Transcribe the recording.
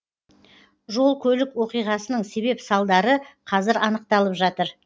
жол көлік оқиғасының себеп салдары қазір анықталып жатыр